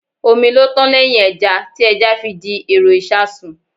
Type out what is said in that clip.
Omi ló tán lẹ́hìn ẹja, tí ẹja fi di èrò ìṣasùn.